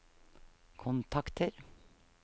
kontakter